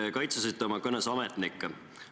Te kaitsesite oma kõnes ametnikke.